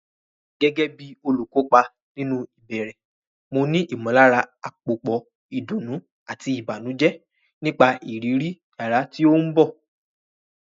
Gẹ́gẹ́ bí olùkópa nínú ìbẹ̀rẹ̀, mo ní ìmọ̀lára àpòpọ̀ ìdùnnú àti ìbànújẹ́ nípa ìrírí yàrá tí ó ń bọ̀.